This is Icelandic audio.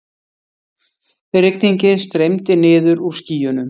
Rigningin streymdi niður úr skýjunum.